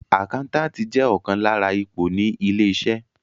Àkáńtàtì jẹ́ ọ̀kan lára ipò ní ilé-iṣẹ́.